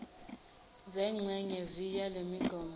zengxenye viii yalemigomo